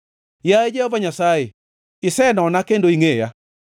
Yaye Jehova Nyasaye, isenona kendo ingʼeya.